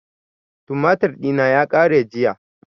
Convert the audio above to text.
Tumatir ɗina ya ƙare jiya